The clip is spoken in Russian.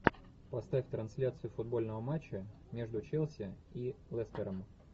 поставь трансляцию футбольного матча между челси и лестером